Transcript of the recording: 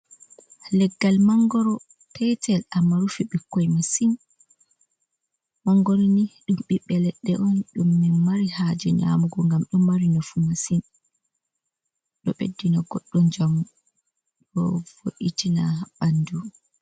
Leggal mangoro petel amma rufi ɓikkoi masin, mangoro ni ɗum ɓiɓɓe leɗɗe on ɗum min mari haje nyamugo, ngam ɗum mari nafu masin, ɗo ɓeddina goɗɗo jamu, ɗo voitina ɓandu.